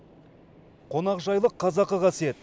қонақжайлық қазақы қасиет